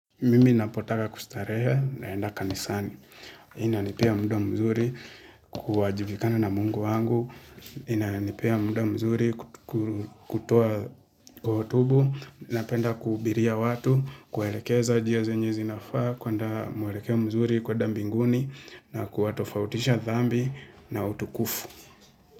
Mimi napotaka kustarehe naenda kanisani. Inanipea muda mzuri kuajibikana na mungu wangu. Inanipea muda mzuri kutoa hotubu. Napenda kuhubiria watu, kuwaelekeza njia zenye zinafaa, kuenda mwelekeo mzuri kuenda mbinguni, na kuwatofautisha dhambi na utukufu.